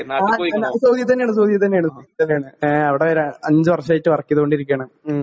ആ ഞാൻ സൗദി തന്നേണ് സൗദി തന്നേണ് സൗദി തന്നേണ് അവിടെ ര അവിടെ അഞ്ച് വർഷായിട്ട് വർക്കീതോണ്ടിരിക്കാണ് ഉം.